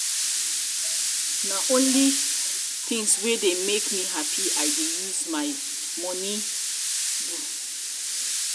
na only tins wey dey make um me hapi i dey um use my um moni my um moni do.